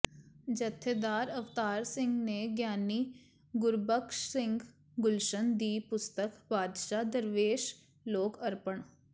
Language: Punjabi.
ਜਥੇਦਾਰ ਅਵਤਾਰ ਸਿੰਘ ਨੇ ਗਿਆਨੀ ਗੁਰਬਖਸ਼ ਸਿੰਘ ਗੁਲਸ਼ਨ ਦੀ ਪੁਸਤਕ ਬਾਦਸ਼ਾਹ ਦਰਵੇਸ਼ ਲੋਕ ਅਰਪਣ